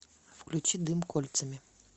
включи дым кольцами